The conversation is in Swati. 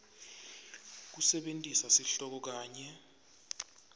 kusebentisa sihloko kanye